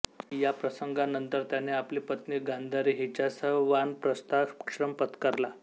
या प्रसंगानंतर त्याने आपली पत्नी गांधारी हिच्यासह वानप्रस्थाश्रम पत्करला